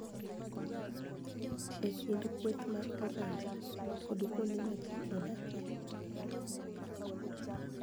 E kind kweth mag oganda kod kuonde ma ji odakie.